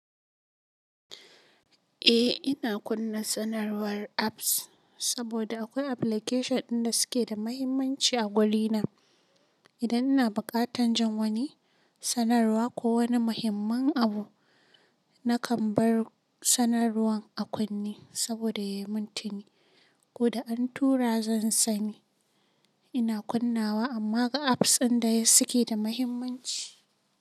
Eh ina kunna sanarwar apps saboda akwai application ɗin da suke da mahimmanci a guri na. Idan ina buƙatan jan wani sanarwa ko wani muhimman abu nakan bar sanarwan a kunne saboda ya yi muntini ko da an tura zan sani. Ina kunnawa amma ga apps ɗin da suke da mahimmanci.